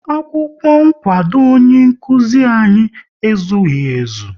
Akwụkwọ nkwado ọnye nkụzi anyị ezughị ezu